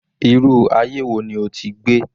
Irú aye wo ni o ti gbé?